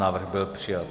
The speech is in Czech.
Návrh byl přijat.